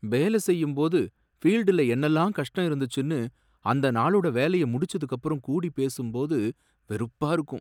வேல செய்யும்போது ஃபீல்டுல என்னெல்லாம் கஷ்டம் இருந்துச்சுன்னு, அந்தநாளோட வேலைய முடிஞ்சதுக்குப்புறம் கூடி பேசும் போது வெறுப்பா இருக்கும்.